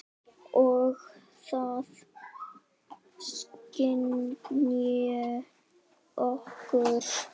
Og það skynji okkur.